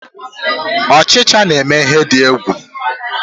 Ochicha na eme ihe di egwu.